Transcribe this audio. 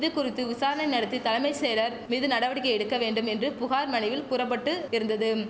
இதுகுறித்து விசாரணை நடத்தி தலமை செயலர் மீது நடவடிக்கை எடுக்க வேண்டும் என்று புகார் மனுவில் கூற பட்டு இருந்ததும்